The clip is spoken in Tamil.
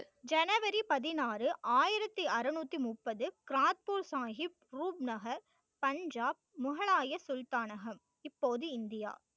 ஜனவரி பதினாறு ஆயிரத்தி அறநூத்தி முப்பது கிராத்பூர் சாஹிப் ரூப் நகர் பஞ்சாப் முகலாய சுல்தானகம் இப்போது இந்தியா